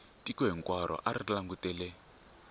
tiko hinkwaro a ri langutele